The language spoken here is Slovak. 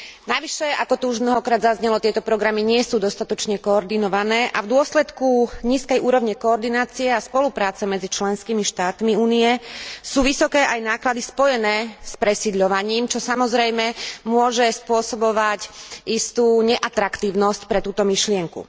Navyše, ako tu už mnohokrát zaznelo, tieto programy nie sú dostatočne koordinované a v dôsledku nízkej úrovne koordinácie a spolupráce medzi členskými štátmi Únie sú vysoké aj náklady spojené s presídľovaním, čo, samozrejme, môže spôsobovať istú neatraktívnosť pre túto myšlienku.